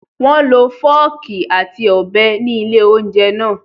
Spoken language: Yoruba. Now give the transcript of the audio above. Wọ́n lo fọ́ọ̀kì àti ọ̀bẹ ní ilé-oúnjẹ náà.